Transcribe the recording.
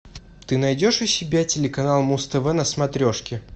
ты найдешь у себя телеканал муз тв на смотрешке